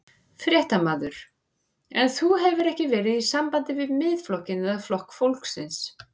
Fréttamaður: En þú hefur ekki verið í sambandi við Miðflokkinn eða Flokk fólksins?